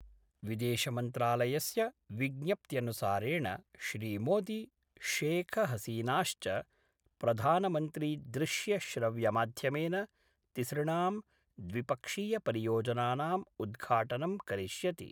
विदेशमंत्रालयस्य विज्ञप्त्यानुसारेण श्रीमोदी शेखहसीनाश्च प्रधानमन्त्रीदृश्यश्रव्यमाध्यमेन तिसृणां द्विपक्षीयपरियोजनानां उद्घाटनं करिष्यति।